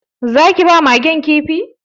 Za ki ba Magen Kifi?